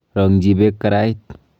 Rong'chi beek karait.